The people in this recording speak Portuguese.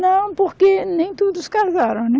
Não, porque nem todos casaram, né?